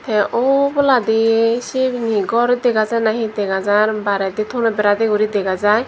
te oboladi siben he gor dega jai nahi he dega jar bairedi tono bera de guri dega jaar.